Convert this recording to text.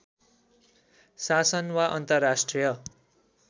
शासन वा अन्तर्राष्ट्रिय